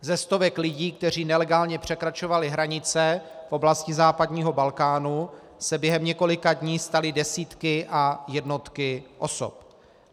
Ze stovek lidí, kteří nelegálně překračovali hranice v oblasti západního Balkánu, se během několika dní staly desítky a jednotky osob.